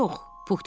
Puh dedi.